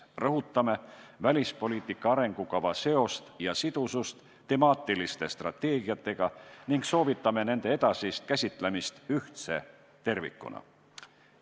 Me rõhutame välispoliitika arengukava seost ja sidusust temaatiliste strateegiatega ning soovitame nende edasist käsitlemist ühtse tervikuna.